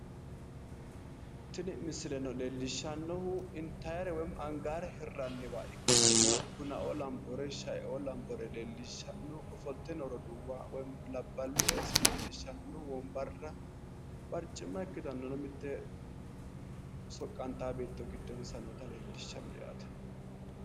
Tini misileno leellishshannohu intaayiire woy angaayiire hirranniwa bunaoo lambore leellishshanno ofolte noo roduuwa woy labballi ooso leellishshanno wonbarra barcimma ikkitanna soqqantaa beetto giddonsa noota leellishshanno yaate.